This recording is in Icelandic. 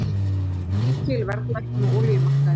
Mikil verðlækkun á olíumarkaði